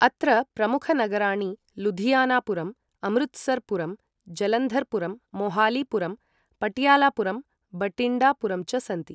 अत्र प्रमुख नगराणि लुधियाना पुरम्, अमृतसर् पुरं, जलन्धर् पुरं, मोहाली पुरं, पटियाला पुरं, बठिण्डा पुरं च सन्ति।